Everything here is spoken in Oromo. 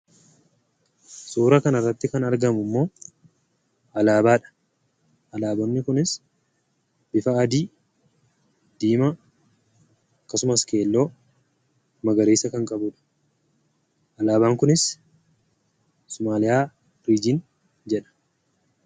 Suura kan irratti kan argamu ammoo alaabaadha. Alaaboonni kunis bifa adii, diimaa akkasuma bifa keelloofi magariisa kan qabudha. Alaabaan kunis "Sumaaliyaa Riijin" jedha.